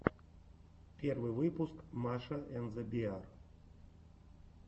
первый выпуск маша энд зе беар